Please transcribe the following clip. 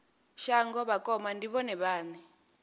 shango vhakoma ndi vhone vhane